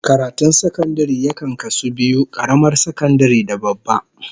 Karatun sakandare yakan kasu biyu, karamar sakandare da babba